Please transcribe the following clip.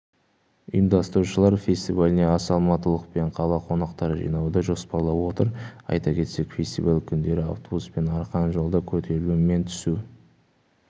ұйымдастырушылар фестиваліне аса алматылық пен қала қонақтарын жинауды жоспарлап отыр айта кетсек фестиваль күндері автобус пен арқан жолда көтерілу мен түсу